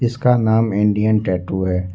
इसका नाम Indian tattoo है।